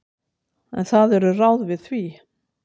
En það eru ráð við því.